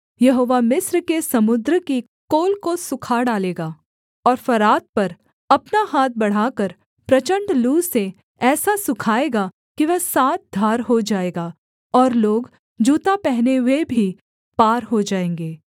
यहोवा मिस्र के समुद्र की कोल को सूखा डालेगा और फरात पर अपना हाथ बढ़ाकर प्रचण्ड लू से ऐसा सुखाएगा कि वह सात धार हो जाएगा और लोग जूता पहने हुए भी पार हो जाएँगे